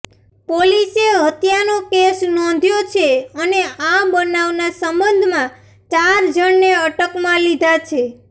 પોલીસે હત્યાનો કેસ નોંધ્યો છે અને આ બનાવના સંબંધમાં ચાર જણને અટકમાં લીધા છે